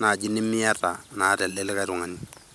naaji nimiata naata elde likae tungani.